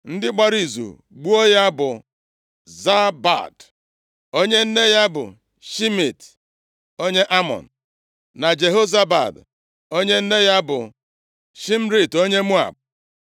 Ndị gbara izu gbuo ya bụ Zabad, onye nne ya bụ Shimeat onye Amọn, na Jehozabad, onye nne ya bụ Shimrit onye Moab.